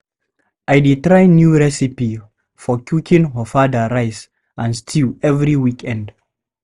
I dey try new recipe for cooking ofada rice and stew every weekend.